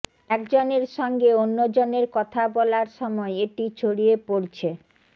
একজনের সঙ্গে অন্যজনের কথা বলার সময় এটি ছড়িয়ে পড়ছে